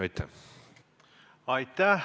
Aitäh!